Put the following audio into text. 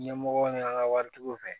Ɲɛmɔgɔw ni an ka waritigiw fɛ